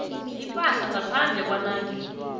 ipahla ngaphandle kwanange